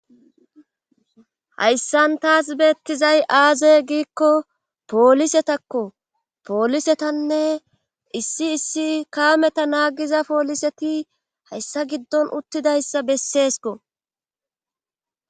Hayssan taas beettizay aaze giikko poolisetakko poolisetanne issi issi kaameta naagiza pooliseti hayssa giddon uttidayssa besseesko